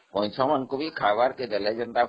କଇଁଛମାନଙ୍କୁ ଖାଇବାକୁ ଦେଲେ ଯେ